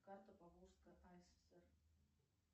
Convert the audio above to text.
карта поволжской асср